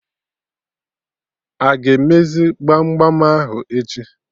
Aga emezi gbam gbam ahụ echi?